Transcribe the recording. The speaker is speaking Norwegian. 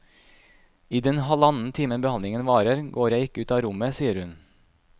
I den halvannen timen behandlingen varer, går jeg ikke ut av rommet, sier hun.